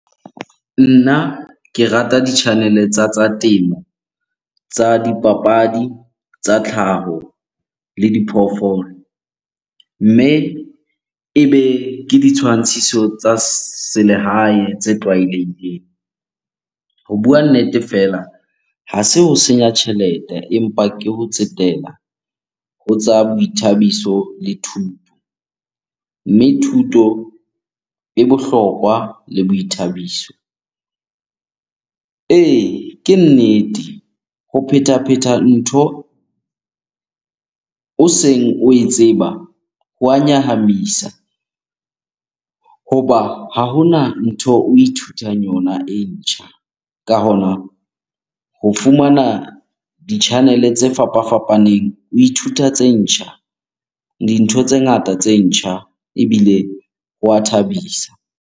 Nna ke rata di-channel-e tsa tsa temo, tsa dipapadi, tsa tlhaho le diphoofolo. Mme ebe ke ditshwantshiso tsa selehae tse tlwaelehileng. Ho bua nnete fela, ha se ho senya tjhelete empa ke ho tsetela ho tsa boithabiso le thuto. Mme thuto e bohlokwa le boithabiso. Ee, ke nnete. Ho phetapheta ntho o seng oe tseba ho a nyahamisa hoba ha hona ntho o ithutang yona e ntjha. Ka hona ho fumana di-channel-e tse fapafapaneng o ithuta tse ntjha, dintho tse ngata tse ntjha ebile hwa thabisa.